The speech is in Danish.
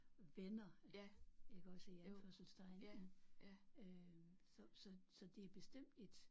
Venner iggås i anførselstegn mh øh så så så det er bestemt et